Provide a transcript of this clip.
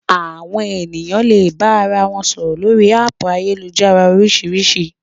Àwọn ènìyàn le bára wọn sọ̀rọ̀ lórii háàpù ayélujára oríṣiríṣi